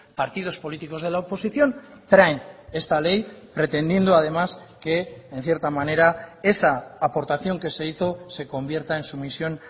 partidos políticos de la oposición traen esta ley pretendiendo además que en cierta manera esa aportación que se hizo se convierta en sumisión